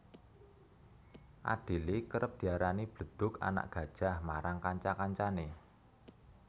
Adele kerep diarani bledhug anak gajah marang kanca kancane